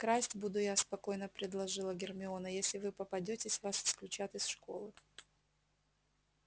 красть буду я спокойно предложила гермиона если вы попадётесь вас исключат из школы